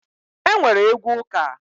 E nwere egwu ụka